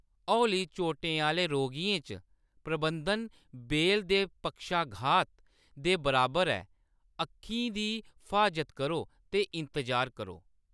हौली चोटें आह्‌‌‌ले रोगियें च, प्रबंधन बेल दे पक्षाघात दे बराबर ऐ, अक्खीं दी फ्हाजत करो ते इंतजार करो।